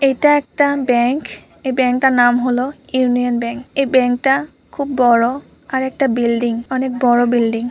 এটা একটা ব্যাঙ্ক | এই ব্যাঙ্কটার নাম হলো ইউনিয়ন ব্যাঙ্ক |এই ব্যাঙ্কটা খুব বড় | আরেকটা বিল্ডিং অনেক বড় বিল্ডিং |